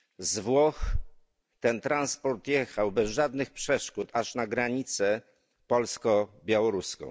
Z Włoch ten transport jechał bez żadnych przeszkód aż na granicę polsko białoruską.